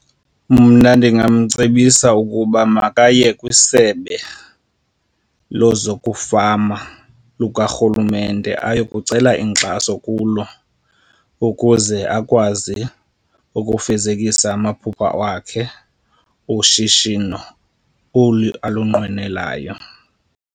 Mna ndingamcebisa ukuba makaye kwisebe lezokufama lukarhulumente ayekucela inkxaso kulo ukuze akwazi ukufezekisa amaphupha wakhe ushishino olu alunqwenelayo.